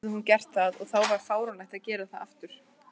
Sennilega hafði hún gert það, og þá var fáránlegt að gera það aftur.